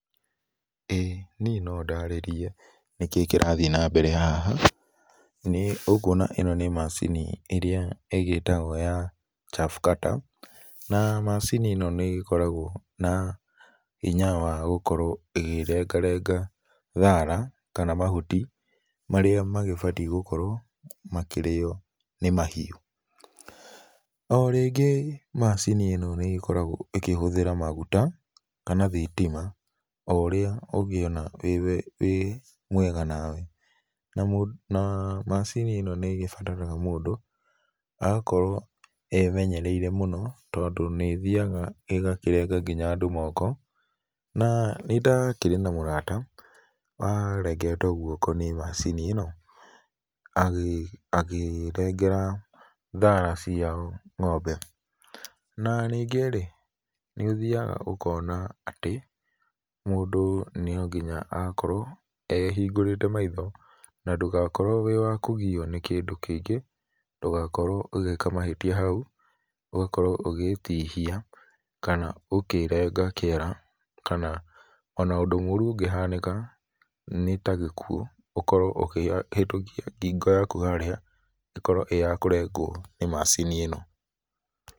Ĩĩ niĩ no ndarĩrie nĩkĩĩ kĩrathiĩ na mbere haha nĩ ũkũona ĩno nĩ macini ĩrĩa ĩgĩitagwo ya shaftcutter na macini ĩno nĩ ĩkoragwo na hĩnya wa gũkorwo ĩkĩrenga renga thara kana mahũti marĩa magĩbatĩe gũkorwo makĩrĩo nĩ mahiũ. O rĩngĩ macini ĩno nĩikoragwo ĩkĩhũthĩra magũta kana thĩtĩma o ũrĩa ũgĩona wĩ mwega nawe na na macini nĩ ĩgĩbataraga mũndũ agakorwo emenyereire mũno nĩ tondũ nĩ ĩthĩaga ĩgakĩrega andũ moko, na nĩ ndakĩrĩ na mũrata wa regetwo gũoko nĩ macini ĩno akĩregera thara cia ngombe na nĩngĩ rĩ nĩ ũthĩaga ũkona atĩ, mũndũ no ngĩnya akorwo ehĩngũrĩte maitho na ndũgakũrwo wĩ wa kũgĩo nĩ kĩndũ kĩngĩ ndũgakorwo ũgĩka mahĩtĩa haũ, ũgakorwo ũgĩgĩtihĩa kana ũkĩrenga kĩara kana ona ũndũ morũ ũngĩhanĩka nĩ ta gĩkũo ũkorwo ũkĩhĩtũkĩa ngĩngo yakũ harĩa ĩgakorwo ĩ ya kũrengwo nĩ macini ĩno.